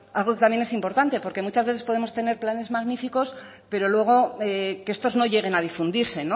algo que también es importante porque muchas veces podemos tener planes magníficos pero luego que estos no lleguen a difundirse